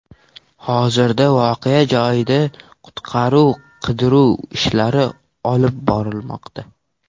Hozirda voqea joyida qutqaruv-qidiruv ishlari olib borilmoqda.